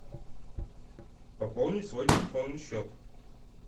пополнить свой телефонный счет